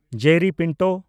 Jerry Pinto